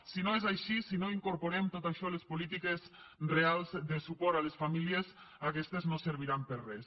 si no és així si no incorporem tot això a les polítiques reals de suport a les famílies aquestes no serviran per a res